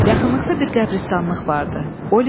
Yaxınlıqda bir qəbiristanlıq vardı.